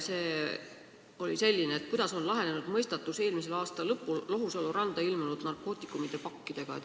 See oli selline: kuidas on lahenenud eelmise aasta lõpul Lohusalu randa ilmunud narkootikumipakkide mõistatus?